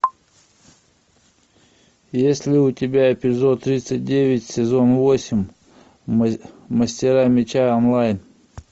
есть ли у тебя эпизод тридцать девять сезон восемь мастера меча онлайн